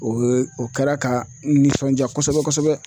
O ye o kɛra ka n nisɔndiya kosɛbɛ kosɛbɛ.